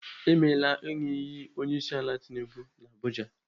Emela ịṅụ iyi onyeisiala Tinubu n'Abuja.